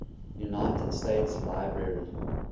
united states library